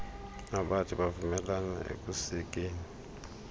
nabathi bavumelane ekusekeni